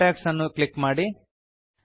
contacts ಅನ್ನು click ಮಾಡಿ